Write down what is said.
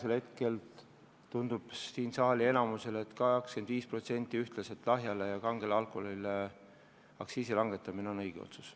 Praegu tundub saalis enamikule, et 25% nii lahja kui kange alkoholi aktsiisi langetamine on õige otsus.